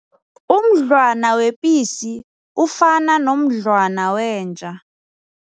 Umdlwana wepisi ufana nomdlwana wenja.